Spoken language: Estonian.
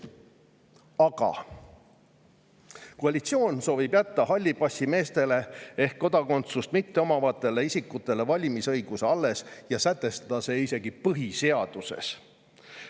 Aga koalitsioon soovib jätta hallipassimeestele ehk kodakondsust mitteomavatele isikutele valimisõiguse alles ja sätestada see isegi põhiseaduses.